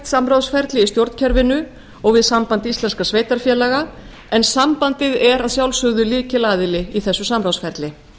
samráðsferli í stjórnkerfinu og við samband íslenskra sveitarfélaga en sambandið er að sjálfsögðu lykilaðili í þessu samráðsferli